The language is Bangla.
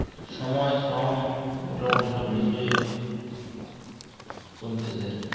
সময় শ্রম মোটামুটি সব মিশিয়ে কমতেসে